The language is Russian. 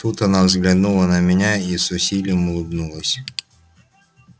тут она взглянула на меня и с усилием улыбнулась